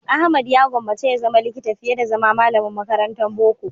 Ahmad ya gwammace ya zama likita fiye da zama malamin makarantan boko.